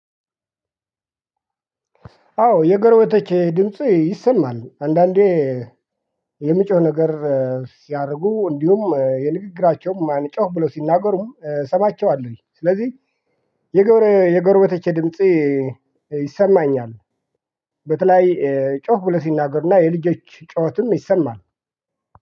አዎ የጎረቤቶቼ ድምጽ ይሰማል። አንዳንዴ የምጮህ ነገር ሲያደርጉ እንዲሁም የንግግራቸውም ጮህ ብሎ ሲናገሩ ሰማቸዋለሁ። ስለዚህ የጎረቤቶቼ ድምጽ ይሰማኛል። በተለይ ጮክ ብለው ስናገሩ እና የልጆች ጩሄትም ይሰማል።